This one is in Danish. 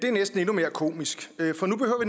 er næsten endnu mere komisk for nu